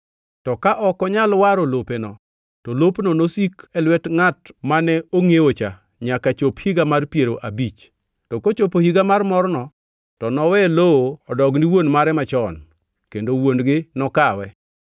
To ka ok onyal waro lopeno, to lopno nosik e lwet ngʼat mane ongʼiewocha nyaka chop higa mar piero abich. To kochopo higa mar morno to nowe lowo odogni wuon mare machon, kendo wuon-gi nokawe.